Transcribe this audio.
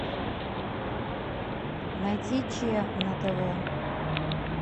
найти че на тв